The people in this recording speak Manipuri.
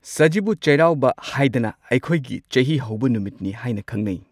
ꯁꯖꯤꯕꯨ ꯆꯩꯔꯥꯎꯕ ꯍꯥꯏꯗꯅ ꯑꯩꯈꯣꯏꯒꯤ ꯆꯍꯤ ꯍꯧꯕ ꯅꯨꯃꯤꯠꯅꯤ ꯍꯥꯏꯅ ꯈꯪꯅꯩ꯫